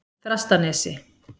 Þrastanesi